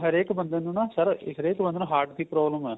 ਹਰੇਕ ਬੰਦੇ ਨੂੰ ਨਾ sir ਹਰੇਕ ਬੰਦੇ ਨੂੰ heart ਦੀ problem ਆ